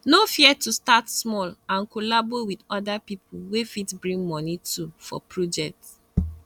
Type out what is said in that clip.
no fear to start small and collabo with other pipo wey fit bring moni too for project